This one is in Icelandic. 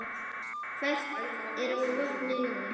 Hvert er vopnið núna?